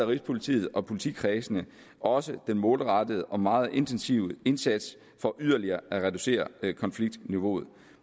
rigspolitiet og politikredsene også den målrettede og meget intensive indsats for yderligere at reducere konfliktniveauet